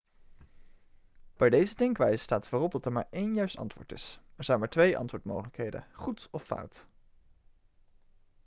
bij deze denkwijze staat voorop dat er maar één juist antwoord is er zijn maar twee antwoordmogelijkheden goed of fout